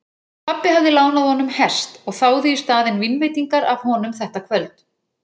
Pabbi hafði lánað honum hest og þáði í staðinn vínveitingar af honum þetta kvöld.